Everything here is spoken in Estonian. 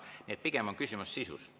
Nii et pigem on küsimus sisus.